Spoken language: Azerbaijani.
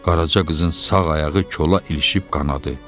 Qaraca qızın sağ ayağı kola ilişib qanadı.